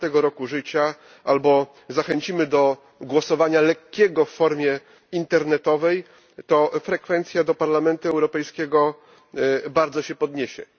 16. roku życia, albo zachęcimy do głosowania lekkiego, w formie internetowej, to frekwencja do Parlamentu Europejskiego bardzo się podniesie.